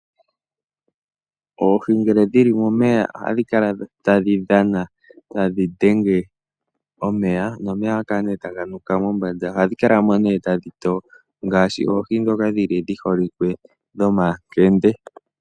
Oohi ngele dhili momeya ohadhi kala tadhi dhana, tadhi dhenge omeya nomeya ohaga kala ne taga nuka mombanda, ohadhi kala mo ne tadhi toyo ngaashi oohi dhoka dhi holike dho makende.